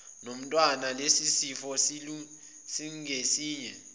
nomntwana lesisifo singesinye